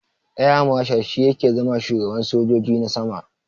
Air marshal shi yake zama shugaban sojoji na sama.